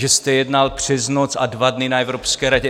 Že jste jednal přes noc a dva dny na Evropské radě?